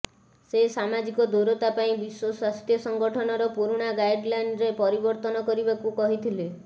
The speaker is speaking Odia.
ସେ ସାମାଜିକ ଦୂରତା ପାଇଁ ବିଶ୍ୱ ସ୍ୱାସ୍ଥ୍ୟ ସଂଗଠନର ପୁରୁଣା ଗାଇଡଲାଇନରେ ପରିବର୍ତ୍ତନ କରିବାକୁ କହିଥିଲେ